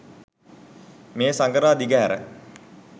මේ සඟරා දිගහැර